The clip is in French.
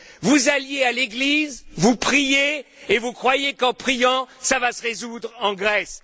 Vous alliez à l'église, vous priiez et vous croyiez qu'en priant, ça allait se résoudre en Grèce.